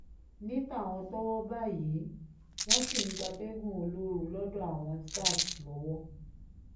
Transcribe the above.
ní tàwọn tọ́wọ́ bá yìí wọ́n ṣì ń gbatẹ́gùn olóoru lọ́dọ̀ àwọn sars lọ́wọ́